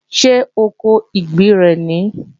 Ṣé oko ìgbín rẹ̀ nìí?